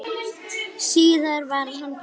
Síðar varð hann pabbi minn.